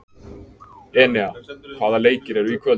Enea, hvaða leikir eru í kvöld?